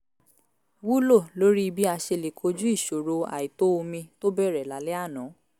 wúlò lórí bí a ṣe lè kojú ìṣòro àìtó omi tó bẹ̀rẹ̀ lálẹ́ àná